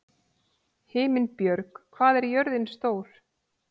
Himinbjörg, hvað er jörðin stór?